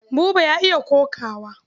Buba ya iya kokawa.